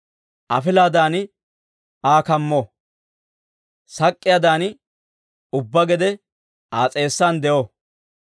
Afilaadan Aa kammo; sak'k'iyaadan ubbaa gede Aa s'eessan de'o!